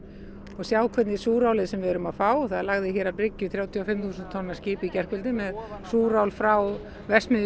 og sjá hvernig súrálið sem við erum að fá það lagði hér að bryggju þrjátíu og fimm þúsund tonna skip í gærkvöldi með súrál frá verksmiðju